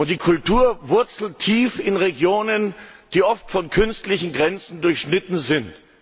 Die Kultur wurzelt tief in Regionen, die oft von künstlichen Grenzen durchschnitten sind.